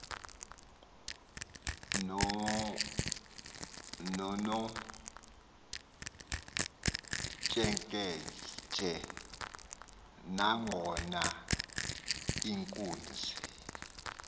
nonomtsheketshe nangona iinkunzi